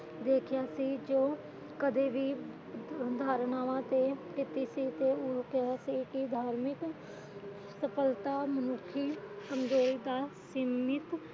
ਵੇਖਿਆ ਸੀ ਜੋ ਕਦੇ ਵੀ ਧਾਰਨਾਵਾਂ ਤੇ ਕਿੱਤੀ ਸੀ ਤੇ ਉਹ ਧਾਰਮਿਕ ਸਫਲਤਾ ਮਨੁੱਖੀ ਕਮਜ਼ੋਰੀ ਦਾ ਸੀਮਿਤ